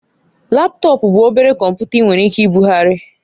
Laptọọpụ bụ obere kọmputa ị nwere ike ibugharị